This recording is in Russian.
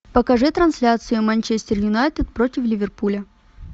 покажи трансляцию манчестер юнайтед против ливерпуля